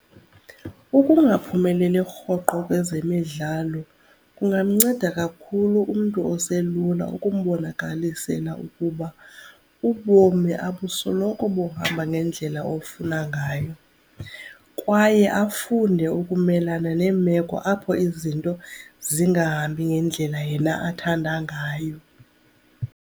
Ukungaphumeleli rhoqo kwezemidlalo kungamnceda kakhulu umntu oselula ukumbonakalisela ukuba ubomi abusoloko buhamba ngendlela ofuna ngayo kwaye afunde ukumelana neemeko apho izinto zingahambi ngendlela yena athanda ngayo.